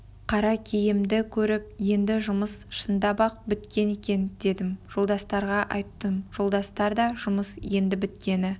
қара киімді көріп енді жұмыс шындап-ақ біткен екен дедім жолдастарға айттым жолдастар да жұмыс енді біткені